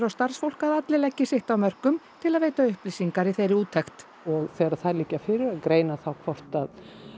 starfsfólk að allir leggi sitt af mörkum til að veita upplýsingar í þeirri úttekt og þegar þær liggja fyrir að greina þá hvort að